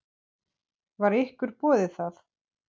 Var ykkur boðið það?